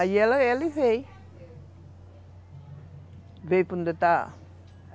Aí ela ela veio